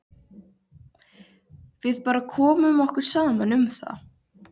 Við bara komum okkur saman um það.